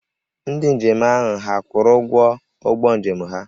Ndị njem ahụ hà kwụrụ ụgwọ ụgbọ njem ha?